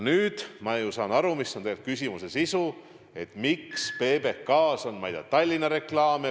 Nüüd ma ju saan aru, mis on tegelikult küsimuse sisu: et miks PBK-s on, ma ei tea, Tallinna reklaame.